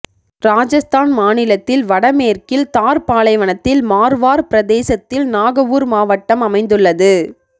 இராஜஸ்தான் மாநிலத்தில் வடமேற்கில் தார் பாலைவனத்தில் மார்வார் பிரதேசத்தில் நாகவுர் மாவட்டம் அமைந்துள்ளது